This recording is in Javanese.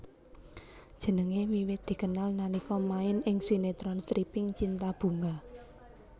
Jenengé wiwit dikenal nalika main ing sinetron stripping cinta bunga